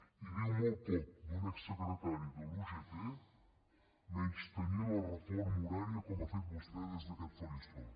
i diu molt poc d’un exsecretari de la ugt menystenir la reforma horària com ha fet vostè des d’aquest faristol